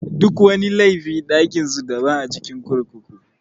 Duk wani laifi ɗakin su daban a cikin kurkuku.